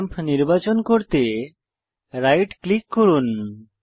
lamp নির্বাচন করতে right click করুন